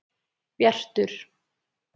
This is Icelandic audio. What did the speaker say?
Bjartur